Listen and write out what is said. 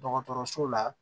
Dɔgɔtɔrɔso la